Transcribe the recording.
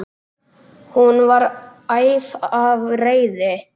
Hún var æf af reiði.